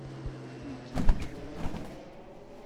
макияж